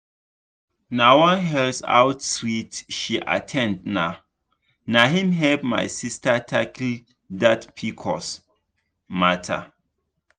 na one health outreach she at ten d na na him help my sister tackle that pcos matter.